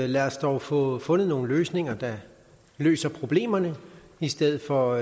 lad os dog få fundet nogle løsninger der løser problemerne i stedet for